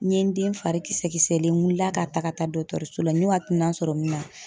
N ye n den fari kisɛkisɛlen n wilila ka taga ka taa dɔgɔtɔrɔso la min na